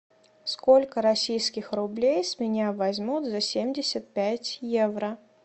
сколько российских рублей с меня возьмут за семьдесят пять евро